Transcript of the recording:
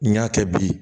N y'a kɛ bi